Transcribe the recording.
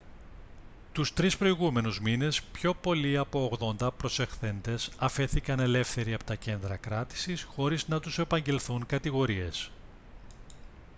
τους 3 προηγούμενους μήνες πιο πολλοί από 80 προσαχθέντες αφέθηκαν ελεύθεροι από τα κέντρα κράτησης χωρίς να τους απαγγελθούν κατηγορίες